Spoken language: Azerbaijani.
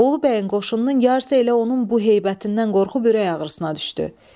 Bolu bəyin qoşununun yarısı elə onun bu heybətindən qorxub ürək ağrısına düşdü.